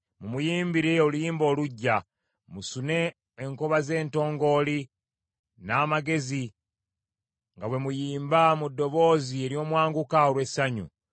Mumuyimbire oluyimba oluggya; musune enkoba ze ntongooli n’amagezi nga bwe muyimba mu ddoboozi ery’omwanguka olw’essanyu.